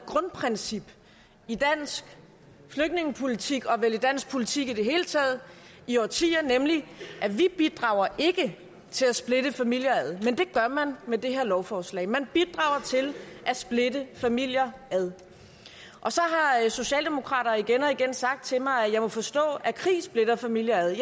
grundprincip i dansk flygtningepolitik og vel i dansk politik i det hele taget i årtier nemlig at vi ikke bidrager til at splitte familier ad men det gør man med det her lovforslag man bidrager til at splitte familier ad og så har socialdemokrater igen og igen sagt til mig at jeg må forstå at krig splitter familier ad